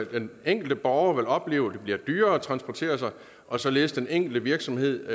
den enkelte borger vil opleve at det bliver dyrere at transportere sig og således at den enkelte virksomhed